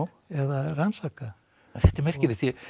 eða rannsaka þetta er merkilegt